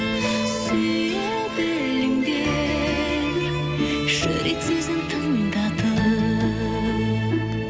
сүйе біліңдер жүрек сөзін тыңдатып